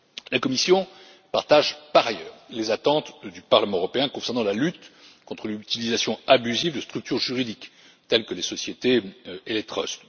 La Commission partage, par ailleurs, les attentes du Parlement européen concernant la lutte contre l'utilisation abusive de structures juridiques telles que les sociétés et les trusts.